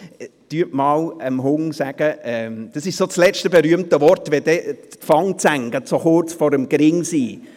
Sagen Sie einmal dem Hund – das ist so das letzte berühmte Wort –, wenn sich die Fangzähne gerade so kurz vor dem Kopf befinden: